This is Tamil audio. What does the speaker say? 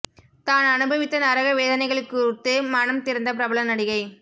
தான் அனுபவித்த நரக வேதனைகள் குறித்து மனம் திறந்த பிரபல நடிகை